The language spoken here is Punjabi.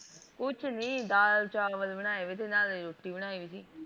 ਕੁੱਛ ਨਹੀਂ ਦਾਲ ਚਾਵਲ ਬਣਾਏ ਵੀ ਦ ਨਾਲੇ ਰੋਟੀ ਬਣਾਈ ਵੀ ਥੀ।